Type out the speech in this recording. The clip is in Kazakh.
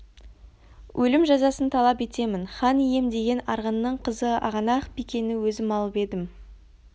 өлім жазасын талап етемін хан ием деген арғынның қызы ағанақ-бикені өзім алып едім